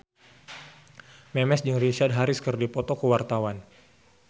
Memes jeung Richard Harris keur dipoto ku wartawan